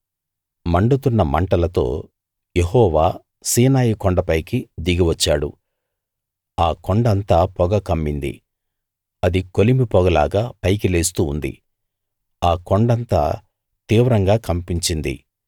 మండుతున్న మంటలతో యెహోవా సీనాయి కొండపైకి దిగి వచ్చాడు ఆ కొండ అంతా పొగ కమ్మింది అది కొలిమి పొగలాగా పైకి లేస్తూ ఉంది ఆ కొండంతా తీవ్రంగా కంపించింది